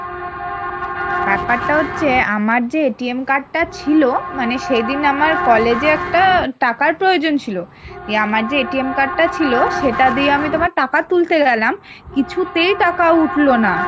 ব্যাপারটা হচ্ছে আমার যে card টা ছিল মানে সেদিন আমার college এ একটা টাকার প্রয়োজন ছিল, দিয়ে আমার যে card টা ছিল সেটা দিয়ে আমি তোমার টাকা তুলতে গেলাম কিছুতেই, টাকা উঠলো না